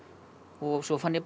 og svo fann ég